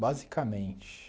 Basicamente.